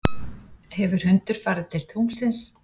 hefur hundur farið til tunglsins